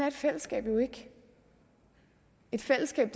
et fællesskab jo ikke et fællesskab